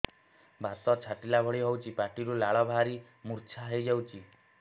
ବାତ ଛାଟିଲା ଭଳି ହଉଚି ପାଟିରୁ ଲାଳ ବାହାରି ମୁର୍ଚ୍ଛା ହେଇଯାଉଛି